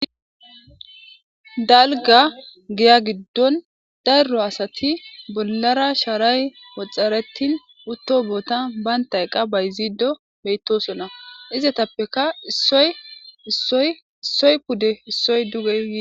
Dalgga giya giddora bollara sharray woxxaretti uutto bottan bantta eqa bayziddii bettossonna izettappekka issoy issoy pude